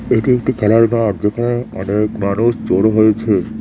এটি একটি খেলার ঘর যেখানে অনেক মানুষ জড়ো হয়েছে।